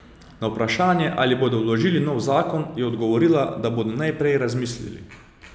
Na vprašanje, ali bodo vložili nov zakon, je odgovorila, da bodo najprej razmislili.